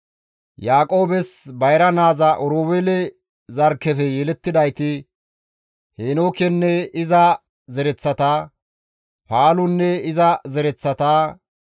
Yaaqoobes bayra naaza Oroobeele zarkkefe yelettidayti Heenookenne iza zereththata, Paalunne iza zereththata,